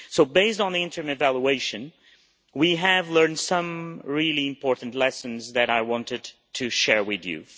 So based on the interim evaluation, we have learned some really important lessons that I want to share with you.